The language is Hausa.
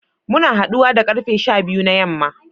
Muna haduwa da karfe sha biyu na yamma